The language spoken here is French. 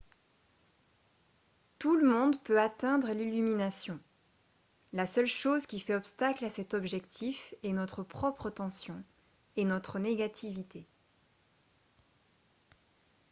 tout le monde peut atteindre l'illumination la seule chose qui fait obstacle à cet objectif est notre propre tension et notre négativité